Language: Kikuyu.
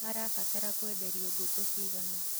Marabatara kwenderio ngukũ cigana.